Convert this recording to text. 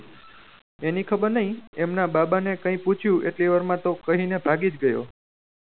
એની ખબર નહી એમના બાબા ની કહી પૂછ્યું એટલી વાર માં તો કહી ને ભાગી જ ગયો